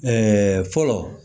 fɔlɔ